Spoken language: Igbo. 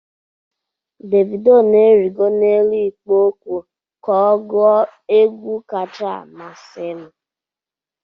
Dévido na-arịgó n'elu ịkpó okwu ka ọ gụo egwu kacha amasị m